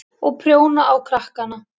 Og prjóna á krakkana.